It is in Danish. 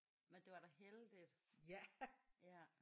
Men det var da heldigt ja